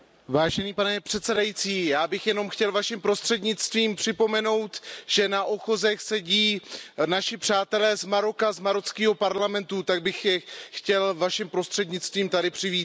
Pane předsedající, já bych jenom chtěl Vaším prostřednictvím připomenout, že na ochozech sedí naši přátelé z Maroka, z marockého parlamentu, tak bych je chtěl Vaším prostřednictvím tady přivítat.